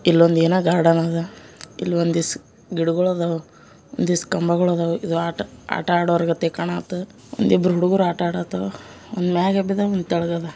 ಏನೋ ಒಂದು ಗಾರ್ಡನ್ ಅದ ಸ್ವಲ್ಪ ಗಿಡಗಳು ಅದ ಆಟ ಆಡ್ತಾರೆ ಒಂದಿಬ್ರುಗಳು ಒಂದು ಕಂಬದ--